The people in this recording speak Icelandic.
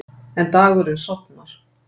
En dagurinn sofnar.